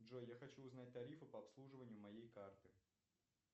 джой я хочу узнать тарифы по обслуживанию моей карты